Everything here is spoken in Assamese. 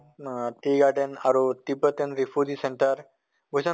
আহ tea garden আৰু tibetan refugee center বুজিছা নে